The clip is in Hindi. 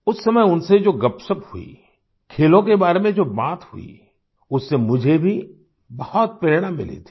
उस समय उनसे जो गपशप हुई खेलों के बारे में जो बात हुई उससे मुझे भी बहुत प्रेरणा मिली थी